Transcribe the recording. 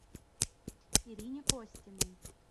ирине костиной